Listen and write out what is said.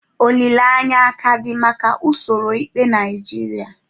Olileanya aka dị maka usoro ikpe Naijiria?